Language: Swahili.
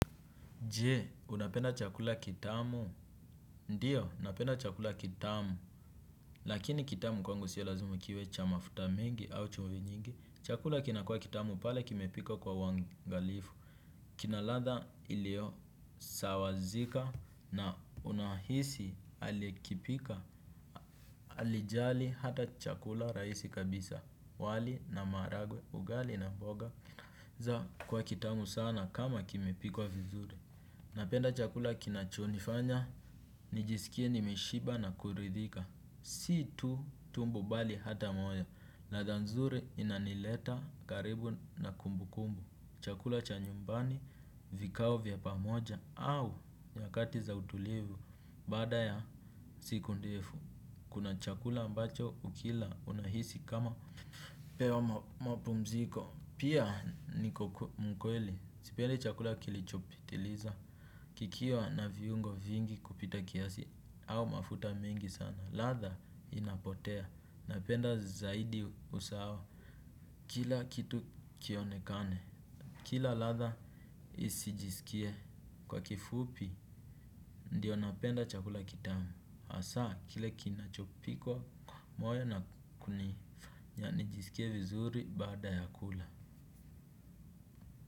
Je, unapenda chakula kitamu? Ndiyo, napenda chakula kitamu. Lakini kitamu kwangu siyo lazima kiwe cha mafuta mengi au chumvi nyingi. Chakula kinakua kitamu pale kimepikwa kwa uangalifu. Kina ladha ilio sawazika na unahisi alikipika. Alijali hata chakula raisi kabisa. Wali na maharagwe, ugali na mboga. Za kwa kitamu sana kama kimepikwa vizuri. Napenda chakula kinachonifanya, nijisikie nimeshiba na kuridhika. Si tu tumbo bali hata moyo. Ladha nzuri inanileta karibu na kumbu kumbu. Chakula cha nyumbani, vikao vya pamoja au nyakati za utulivu. Bada ya siku ndefu. Kuna chakula ambacho ukila unahisi kama umepewa mapumziko. Pia niko mkweli. Sipendi chakula kilichopitiliza. Kikiwa na viungo vingi kupita kiasi au mafuta mengi sana, ladha inapotea, napenda zaidi usawa kila kitu kionekane. Kila ladha isijisikie kwa kifupi, ndiyo napenda chakula kitamu. Asa, kile kinachopikwa moyo na kuni, ya nijisikie vizuri bada ya kula.